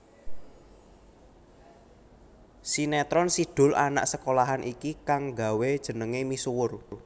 Sinetron Si Doel Anak Sekolahan iki kang nggawé jenengé misuwur